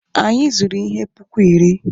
Anyị zụrụ ihe puku iri.